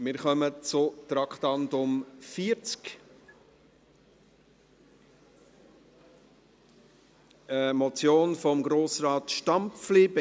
Wir kommen zum Traktandum 40, einer Motion von Grossrat Stampfli: